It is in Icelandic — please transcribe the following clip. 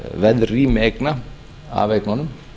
verðrými eigna af eignunum